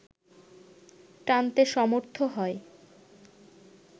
টানতে সমর্থ হয়